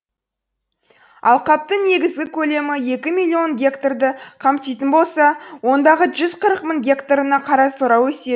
алқаптың негізгі көлемі екі миллион гектарды қамтитын болса ондағы жүз қырық мың гектарына қарасора